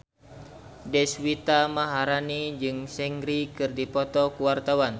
Deswita Maharani jeung Seungri keur dipoto ku wartawan